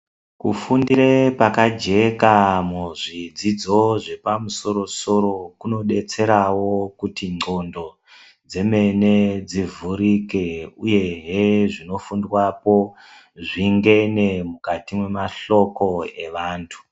Kufundire pakajeka muzvidzidzo zvepamusoro-soro, kunodetserawo kuti ndxondo dzemene dzivhurike uyehe zvinofundwapo zvingene mukati memahloko evantu.